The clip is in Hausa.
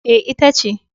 E, ita ce.